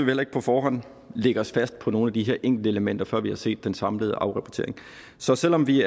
heller ikke på forhånd lægge os fast på nogle af de her enkeltelementer før vi har set den samlede afrapportering så selv om vi